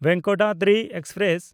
Venkatadri express